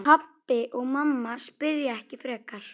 Pabbi og mamma spyrja ekki frekar.